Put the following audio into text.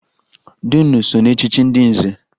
Dunu so na echchi ndị nze